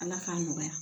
Ala k'a nɔgɔya